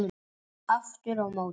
Aftur á móti